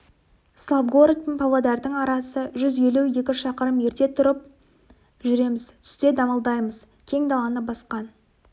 славгород пен павлодардың арасы жүз елу екі шақырым ерте тұрып жүреміз түсте дамылдаймыз кең даланы басқан